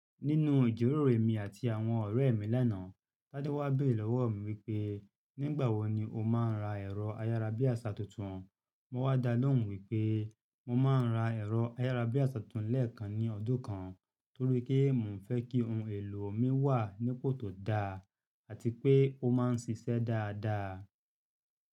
Nínu ìjíròrò emi àti àwọn ọ̀rẹ́ mi lánàá, Tádé wá béèrè lọ́wọ̀ mi wípé, “Nígbà wo ni o máa ń ra ẹ̀rọ ayárabíàṣá tuntun?” Mo wá dá lóhùn wípé mo ma ń ra ẹ̀rọ ayárabíàṣá tuntun lẹ́ẹ̀kan ní ọdún kan torí pé mò ń fẹ́ kí ohun èlò mi wà nípò tó da àti pé ó máa ń ṣiṣẹ́ dáadáa.